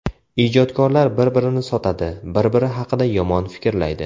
Ijodkorlar bir-birini sotadi, bir-biri haqida yomon fikrlaydi.